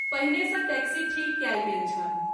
पहिने सँ टैक्सी ठीक कएल गेल छल।